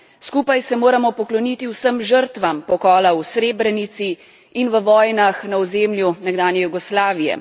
Skupaj se moramo pokloniti vsem žrtvam pokola v Srebrenici in v vojnah na ozemlju nekdanje Jugoslavije.